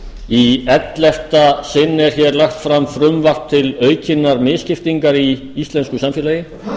í ellefta sinn er lagt fram frumvarp til aukinnar misskiptingar í íslensku samfélagi